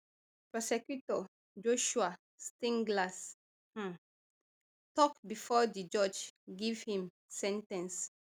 prosecutor joshua steinglass um tok bifor di judge give im sen ten ce